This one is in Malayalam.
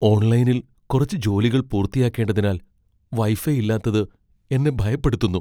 ഓൺലൈനിൽ കുറച്ച് ജോലികൾ പൂർത്തിയാക്കേണ്ടതിനാൽ വൈഫൈ ഇല്ലാത്തത് എന്നെ ഭയപ്പെടുത്തുന്നു.